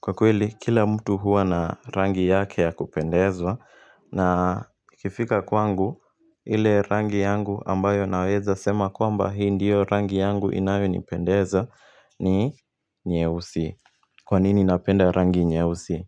Kwa kweli, kila mtu huwa na rangi yake ya kupendezwa na ikifika kwangu, ile rangi yangu ambayo naweza sema kwamba hii ndiyo rangi yangu inayonipendeza, ni nyeusi. Kwanini napenda rangi nyeusi?